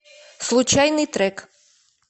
случайный трек